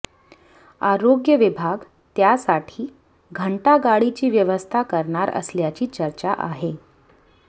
आरोग्य विभाग त्यासाठी घंटागाडीची व्यवस्था करणार असल्याची चर्चा आहे